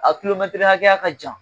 A hakɛya ka jan